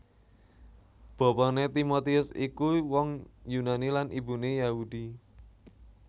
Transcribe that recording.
Bapané Timotius iku wong Yunani lan ibuné Yahudi